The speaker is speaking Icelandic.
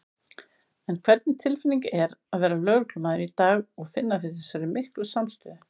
En hvernig tilfinning er að vera lögreglumaður í dag og finna fyrir þessari miklu samstöðu?